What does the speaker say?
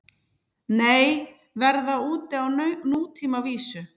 Nei, verða úti á nútímavísu